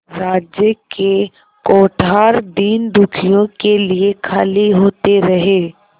राज्य के कोठार दीनदुखियों के लिए खाली होते रहे